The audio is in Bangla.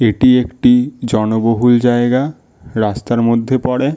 এটি একটি জনবহুল জায়গা রাস্তার মধ্যে পড়ে।